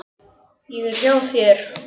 Ég er hjá þér.